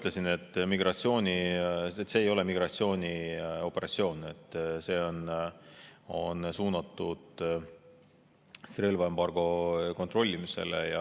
Nagu ma ütlesin, see ei ole migratsioonioperatsioon, see on suunatud relvaembargo kontrollimisele.